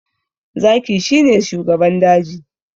Zaki shi ne shugaban daji